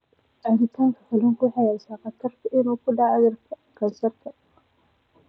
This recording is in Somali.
Cunista kalluunka waxay yaraynaysaa khatarta ah inuu ku dhaco kansarka.